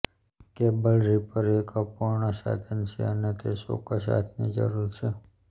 cable ripper એક અપૂર્ણ સાધન છે અને તે ચોક્કસ હાથની જરૂર છે